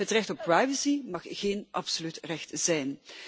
Het recht op privacy mag geen absoluut recht zijn.